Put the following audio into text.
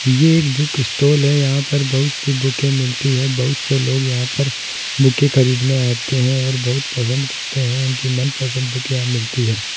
ये एक book stall है यहां पर बहुत सी बुके मिलती हैं बहुत से लोग यहां पर बुके खरीदने आते है और बहुत पसंद करते है उनकी मन पसंद बुक यहां मिलती है।